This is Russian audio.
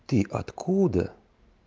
ты откуда